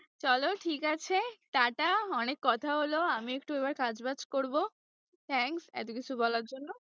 চলো ঠিক আছে টাটা, অনেক কথা হলো আমি একটু এবার কাজ-বাজ করবো thanks এতোকিছু বলার জন্য।